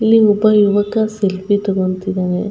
ಇಲ್ಲಿ ಒಬ್ಬ ಯುವಕ ಸೆಲ್ಫಿ ತಗೋಂತಿದ್ದಾನೆ.